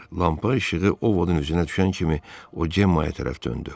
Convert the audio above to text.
Lampa işığı Ovodun üzünə düşən kimi o Cemmaya tərəf döndü.